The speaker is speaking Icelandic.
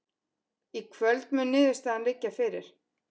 Í kvöld mun niðurstaðan liggja fyrir